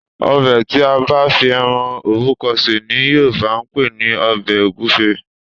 Ọbẹ̀ tí a bá fi ẹran òbúkọ sè ni Yorùbá ń pè ní ọbẹ̀ ògúfe